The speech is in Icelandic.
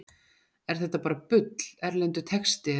Er þetta bara bull, erlendur texti eða einhver afbökun?